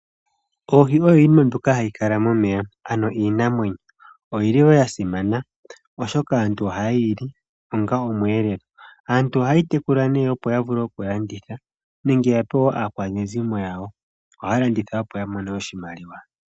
Ohi oyo yimwe hayi kala momeya ano iinamwenyo, oyili woo yasimana oshoka aantu ohaye yili onga omweelelo. Aantu aha yeyi tekula nee opo yavule oku landitha nenge yape aakwaneezimo yawo. Ohaya landitha opo yamone oshimaliwa.